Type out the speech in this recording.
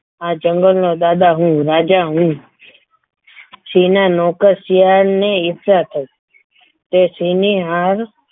આ જંગલનો દાદા હું રાજા હું સિંહના નોકર શિયાળની ઈચ્છા થઈ તે સિંહની યાદ